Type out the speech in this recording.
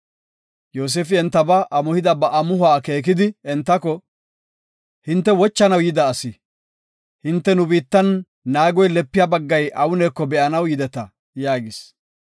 Yoosefi entaba amuhida ba amuhuwa akeekidi entako, “Hinte wochanaw yida asi, hinte nu biittan naagoy lepiya baggay awuneko be7anaw yideta” yaagis.